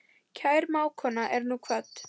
Kær mágkona er nú kvödd.